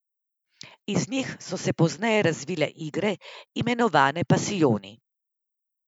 Iz njih so se pozneje razvile igre, imenovane pasijoni.